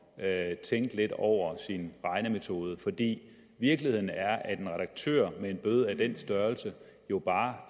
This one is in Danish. at tænke lidt over sin regnemetode fordi virkeligheden er at en redaktør med en bøde af den størrelse jo bare